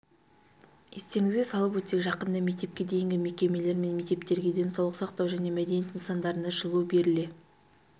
естеріңізге салып өтсек жақында мектепке дейінгі мекемелер мен мектептерге денсаулық сақтау және мәдениет нысандарына жылу беріле